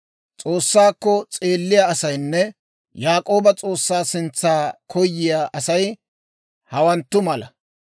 S'oossaakko s'eelliyaa asaynne Yaak'ooba S'oossaa sintsa koyiyaa Asay hawanttu mala.